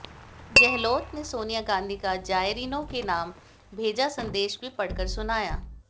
गहलोत ने सोनिया गांधी का जायरीनों के नाम भेजा संदेश भी पढ़कर सुनाया